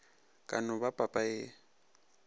ka no ba papa e